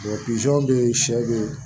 bɛ yen sɛ bɛ yen